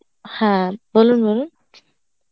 হ্যাঁ বলুন বলুন